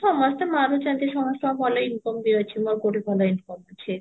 ସମସ୍ତେ ମାରୁଛନ୍ତି ସମସ୍ତଙ୍କ ଭଲ income ବି ଅଛି ମୋର କଉଠି ଭଲ income ଅଛି